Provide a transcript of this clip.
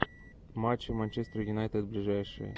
матчи манчестер юнайтед ближайшие